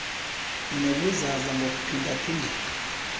nobuzaza ngokuphinda phindeka